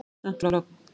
Samt var logn.